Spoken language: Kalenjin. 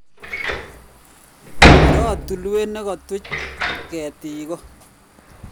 iroo tulwet ne katuch ketik